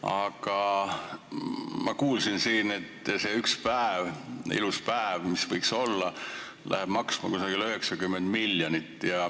Aga ma kuulsin siin, et see üks vaba päev, ilus päev, mis võiks olla, läheb maksma umbes 90 miljonit.